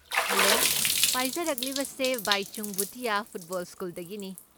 Hello, ꯄꯥꯏꯖꯔꯛꯂꯤꯕꯁꯦ Baichung Bhutia football ꯁ꯭ꯀꯨꯜꯗꯒꯤꯅꯤ꯫